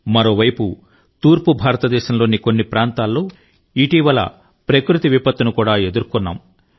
మరోవైపు తూర్పు భారతదేశంలోని కొన్ని ప్రాంతాల్లో ఇటీవల ప్రకృతి విపత్తును కూడా ఎదుర్కొన్నాము